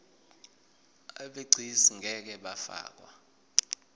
abegcis ngeke bafakwa